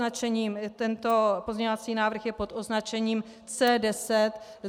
Tento pozměňovací návrh je pod označením C10.